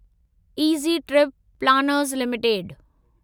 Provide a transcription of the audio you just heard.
easy trip planners limited